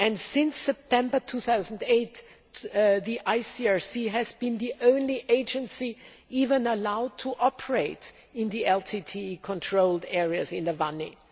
Since September 2008, the ICRC has been the only agency allowed to operate in the LTTE controlled areas in Vanni.